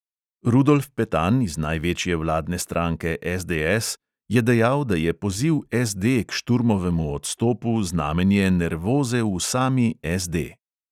Rudolf petan iz največje vladne stranke SDS je dejal, da je poziv SD k šturmovemu odstopu znamenje nervoze v sami SD.